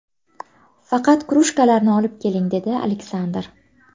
Faqat krujkalarni olib keling”, dedi Aleksandr.